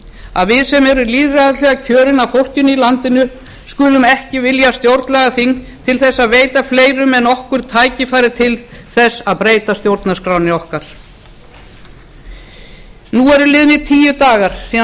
að við sem erum lýðræðislega kjörin af fólkinu í landinu skulum ekki vilja stjórnlagaþing til að veita fleirum en okkur tækifæri til þess að breyta stjórnarskránni okkar nú eru liðnir tíu dagar síðan